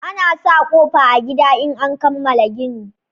Ana sa ƙofa a gida in an kamala gini